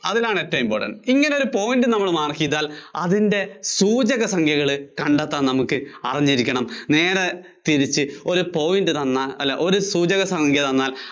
അതിലാണ് ഏറ്റവും important ഇങ്ങനെ ഒരു point നമ്മൾ mark ചെയ്താൽ അതിന്‍റെ സൂചകസംഖ്യകൾ കണ്ടെത്താൻ നമുക്ക് അറിഞ്ഞിരിക്കണം നേരെ തിരിച്ച് ഒരു point തന്നാൽ അല്ല സൂചകസംഖ്യ തന്നാൽ